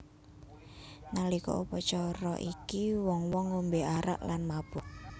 Nalika upacara iki wong wong ngombe arak lan mabuk